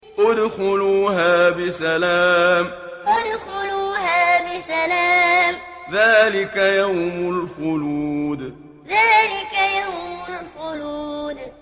ادْخُلُوهَا بِسَلَامٍ ۖ ذَٰلِكَ يَوْمُ الْخُلُودِ ادْخُلُوهَا بِسَلَامٍ ۖ ذَٰلِكَ يَوْمُ الْخُلُودِ